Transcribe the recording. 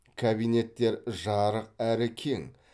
кабинеттер жарық әрі кең